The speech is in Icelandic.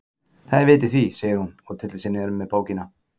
Það er vit í því, segir hún og tyllir sér niður með bókina.